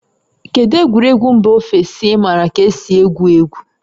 Kedu egwuregwu mba ofesi ị maara ka esi egwu egwu?